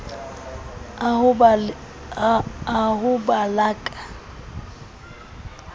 a ho ba la ka